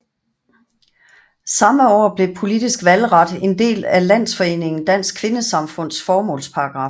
Samme år blev politisk valgret en del af landsforeningen Dansk Kvindesamfunds formålsparagraf